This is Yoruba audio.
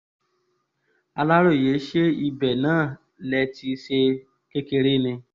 aláròye ṣé ibẹ̀ náà lè ti ṣe kékeré ni